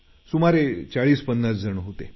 सुमारे 4050 जण होते